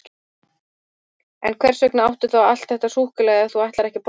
En hvers vegna áttu þá allt þetta súkkulaði ef þú ætlar ekki að borða það?